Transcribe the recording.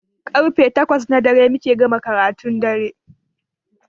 Karfe takwas na dare muke gama karatun dare